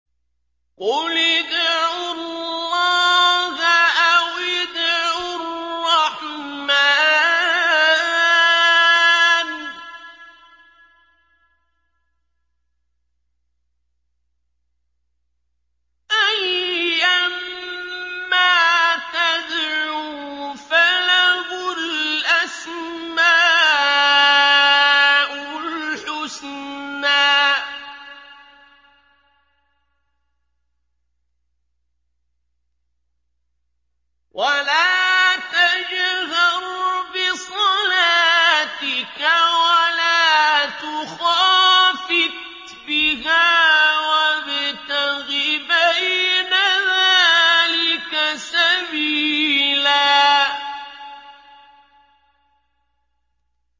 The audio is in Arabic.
قُلِ ادْعُوا اللَّهَ أَوِ ادْعُوا الرَّحْمَٰنَ ۖ أَيًّا مَّا تَدْعُوا فَلَهُ الْأَسْمَاءُ الْحُسْنَىٰ ۚ وَلَا تَجْهَرْ بِصَلَاتِكَ وَلَا تُخَافِتْ بِهَا وَابْتَغِ بَيْنَ ذَٰلِكَ سَبِيلًا